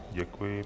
Děkuji.